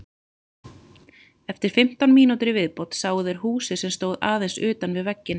Eftir fimmtán mínútur í viðbót sáu þeir húsið sem stóð aðeins utan við veginn.